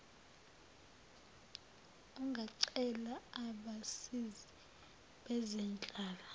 ungacela abasizi bezenhlala